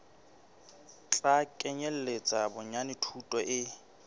tla kenyeletsa bonyane thuto e